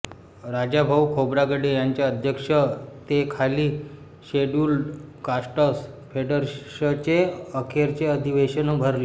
राजाभाऊ खोब्रागडे यांच्या अध्यक्षतेखाली scheduled castes फेडरेशचे अखेरचे अधिवेशन भरले